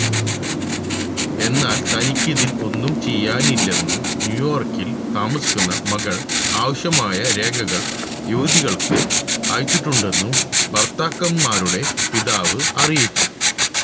എന്നാല് തനിക്ക് ഇതില് ഒന്നും ചെയ്യാനില്ലെന്നും ന്യൂയോര്ക്കില് താമസിക്കുന്ന മക്കള് ആവശ്യമായ രേഖകള് യുവതികള്ക്ക് അയച്ചിട്ടുണ്ടെന്നും ഭര്ത്തക്കന്മാരുടെ പിതാവ് അറിയിച്ചു